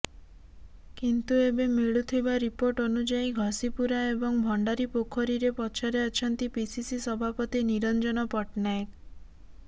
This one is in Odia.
କିନ୍ତୁ ଏବେ ମିଳୁଥିବ ରିପୋର୍ଟ ଅନୁଯାୟୀ ଘଷିପୁରା ଏବଂ ଭଣ୍ଡାରୀପୋଖରୀରେ ପଛରେ ଅଛନ୍ତି ପିସିସି ସଭାପତି ନିରଞ୍ଜନ ପଟ୍ଟନାୟକ